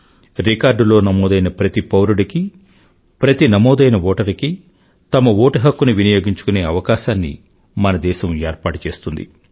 record లో నమోదైన ప్రతి పౌరుడికీ ప్రతి నమోదైన ఓటరుకీ తమ ఓటు హక్కుని వినియోగించుకునే అవకాశాన్ని మన దేశం ఏర్పాటు చేస్తుంది